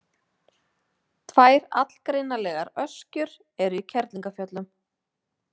Tvær allgreinilegar öskjur eru í Kerlingarfjöllum.